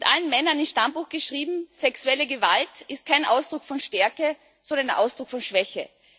Allen Männern ins Stammbuch geschrieben Sexuelle Gewalt ist kein Ausdruck von Stärke, sondern ein Ausdruck von Schwäche.